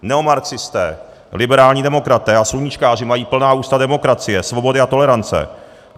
Neomarxisté, liberální demokraté a sluníčkáři mají plná ústa demokracie, svobody a tolerance.